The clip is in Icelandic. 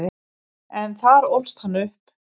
En þar ólst hann upp.